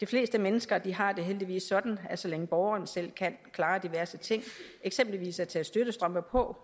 fleste mennesker har det heldigvis sådan at så længe borgeren selv kan klare diverse ting eksempelvis at tage støttestrømper på